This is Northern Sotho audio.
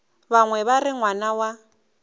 bangwe ba re ngwana wa